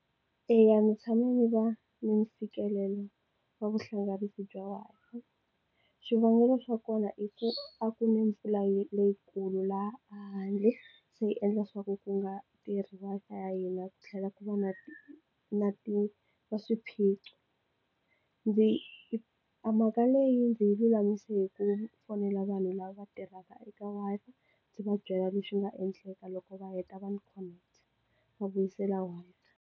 Eya, ndzi tshame ndzi va ni ntshikelelo wa vuhlanganisi bya Wi-Fi. Swivangelo swa kona i ku a ku na mpfula leyikulu laha handle se yi endla swa ku ku nga tirhi Wi-Fi ya hina ku tlhela ku va na na swiphiqo ndzi a mhaka leyi ndzi yi lulamise hi ku fonela vanhu lava va tirhaka eka Wi-Fi ndzi va byela leswi nga endleka loko va heta va ndzi connect va vuyisela Wi-Fi.